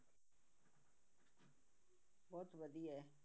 ਬਹੁਤ ਵਧੀਆ ਹੈ